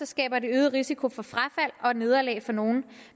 skaber det øget risiko for frafald og nederlag for nogle